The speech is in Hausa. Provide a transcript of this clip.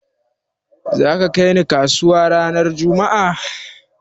Za ka kai ni kasuwa ranar juma'a?